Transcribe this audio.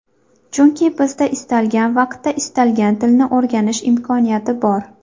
Chunki sizda istalgan vaqtda istalgan tilni o‘rganish imkoniyati bor.